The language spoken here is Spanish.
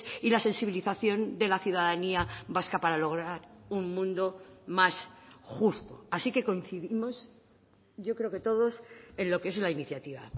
y la sensibilización de la ciudadanía vasca para lograr un mundo más justo así que coincidimos yo creo que todos en lo que es la iniciativa